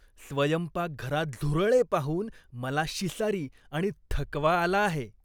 स्वयंपाकघरात झुरळे पाहून मला शिसारी आणि थकवा आला आहे.